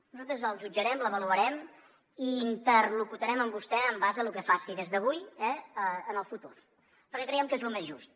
nosaltres el jutjarem l’avaluarem i interlocutarem amb vostè en base a lo que faci des d’avui en el futur perquè creiem que és lo més just